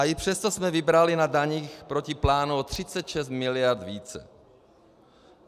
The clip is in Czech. A i přesto jsme vybrali na daních proti plánu o 36 mld. více.